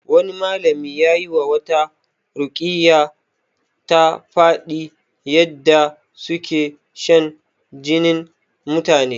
Wani malami yayi wa wata ruƙiyya ta faɗi yadda suke shan jinin mutane